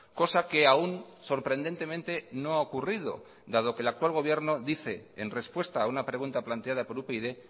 cosa que aún sorprendentemente no ha ocurrido dado que el actual gobierno dice en respuesta a una pregunta planteada por upyd